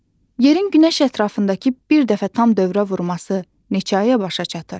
Yerin günəş ətrafındakı bir dəfə tam dövrə vurması neçə aya başa çatır?